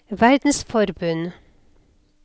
verdensforbund